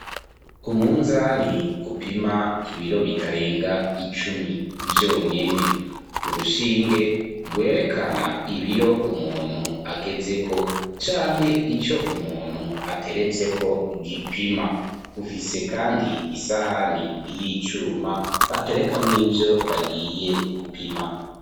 Umunzani gupima ibiro bitarenga icumi vyonyene, urushinge rwerekana ibiro umuntu ageze ko canke icyo umuntu ateretseko gipima ufise kandi isahani y'icuma baterekamw'ivyo bagiye gupima.